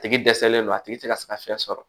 A tigi dɛsɛlen don a tigi tɛ ka se ka fɛn sɔrɔ